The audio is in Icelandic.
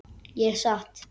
Ég sat.